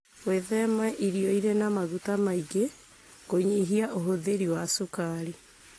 gwĩthema irio irĩ na maguta maingĩ, kũnyihia ũhũthĩri wa cukari,